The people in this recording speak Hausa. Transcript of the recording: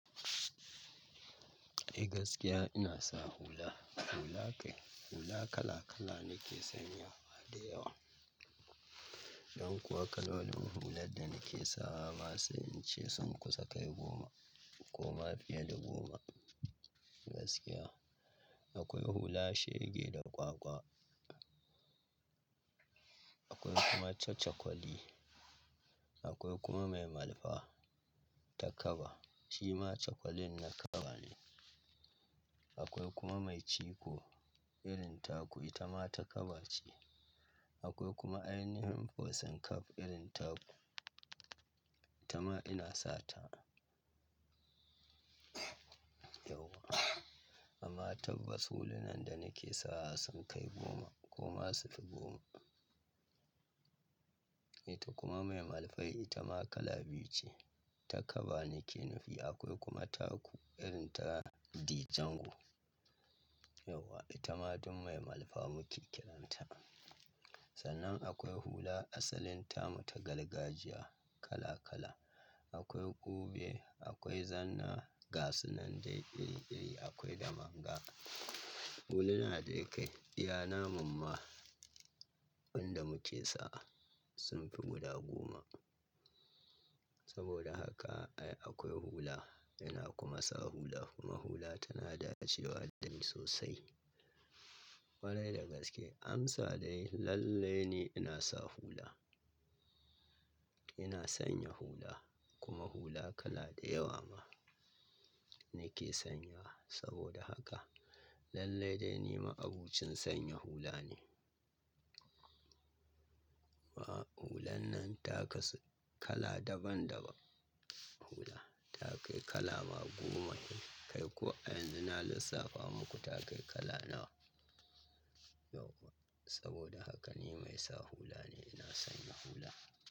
Eh gaskiya ina sa hula. Hula kai, hula kala kala nake sanya da yawa. Dan kuwa kalolin hular da nake sawa ba sai in ce sun kusa kai goma ko ma fiye da goma. Gaskiya akwai hula shege da kwakwa, akwai kuma cacakwali, akwai kuma mai malfa ta kaba shima cakwalin na kaba ne. Akwai kuma mai ciko irin taku ita ma ta kaba ce. Akwai kuma ainihin fosing cap irin taku ita ma ina sata. Yauwa amma tabbas hulunan da nake sawa sun kai goma ko ma su fi goma. Ita kuma mai malfai ita ma kala biyu ce ta kaba nake nufi. Akwai kuma taku irin ta D'jango. Yauwa ita ma duk mai malfa muke kiranta. Sannan akwai hula asalin tamu ta gargajiya kala kala. Akwai ƙube, akwai zanna gasunan dai iri iri akwai damanga. Huluna dai kai, iya namun ma wanda muke sa sun fi guda goma. Saboda haka ai akwai hula ina kuma sa hula kuma hula tana dacewa da ni sosai. Kwarai da gaske amsa dai lalle ne ina sa hula. Ina sanya hula kuma hula kala da yawa ma nake sanya. Saboda haka lallai dai ni ma abucin sanya hula ne. Ba hulan nan ta kasu kala daban daban hula ta kai kala ma goma kai ko a yanzun na lissafa muku ta kai kala nawa. Yauwa saboda haka ni mai sa hula ne ina sanya hula.